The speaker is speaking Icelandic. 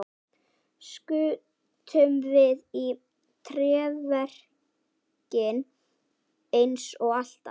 Skutum við í tréverkið eins og alltaf?